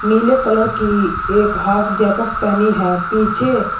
पीले कलर की एक हाफ जैकेट पहनी है पीछे--